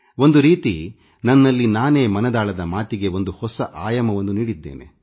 ಒಂದು ರೀತಿ ನನ್ನಲ್ಲಿ ನಾನೇ ಮನದಾಳದ ಮಾತಿಗೆ ಒಂದು ಹೊಸ ಆಯಾಮವನ್ನು ನೀಡಿದ್ದೇನೆ